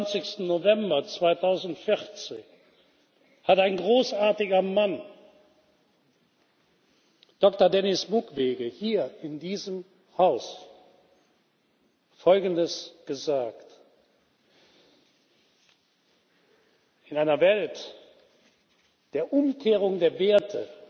26. November 2014 hat ein großartiger Mann, Doktor Denis Mukwege, hier in diesem Haus Folgendes gesagt In einer Welt der Umkehrung der Werte,